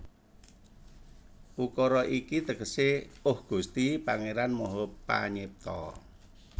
Ukara iki tegesé Oh Gusti Pangéran Maha Panyipta